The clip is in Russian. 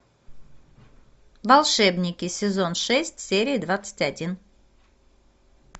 волшебники сезон шесть серия двадцать один